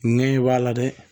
Nɛ b'a la dɛ